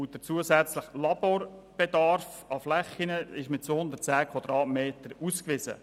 Der zusätzliche Bedarf an Laborflächen ist mit 210 Quadratmetern ausgewiesen.